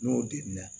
N'o delila